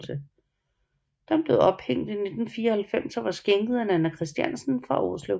Den blev ophængt i 1994 og var skænket af Nanna Christiansen fra Årslev